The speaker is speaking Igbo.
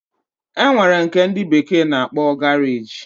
Enwere nke ndi bekee na-akpo garage